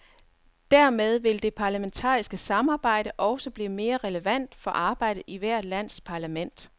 Dermed vil det parlamentariske samarbejde også blive mere relevant for arbejdet i hvert lands parlament.